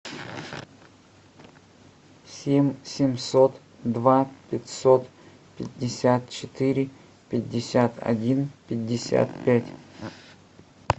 семь семьсот два пятьсот пятьдесят четыре пятьдесят один пятьдесят пять